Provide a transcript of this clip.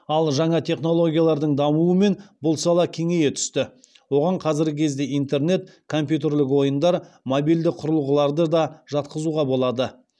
ал жаңа технологиялардың дамуымен бұл сала кеңейе түсті оған қазіргі кезде интернет компьютерлік ойындар мобильді құрылғыларды да жатқызуға болады